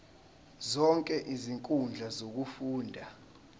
zonke izinkundla zokufunda